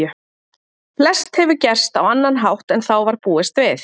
Flest hefur gerst á annan hátt en þá var búist við.